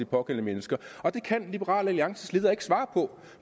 pågældende mennesker og det kan liberal alliances leder ikke svare på